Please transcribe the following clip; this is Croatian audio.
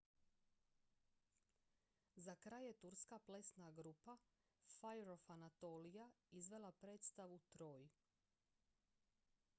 "za kraj je turska plesna grupa fire of anatolia izvela predstavu "troy"".